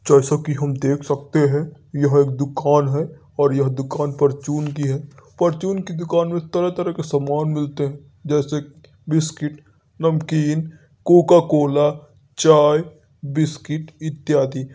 जैसा की हम देख सकते है। यह एक दुकान है और यह दुकान फॉर्चून की है। फॉर्चून की दुकान मे तरह-तरह के समान मिलते हैं। जैसे कि बिस्किट नमकीन कोका -कोला चाय बिस्किट इत्यादि।